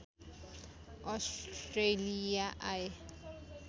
Australia आए